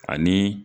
Ani